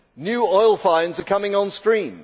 New oil finds are coming on stream.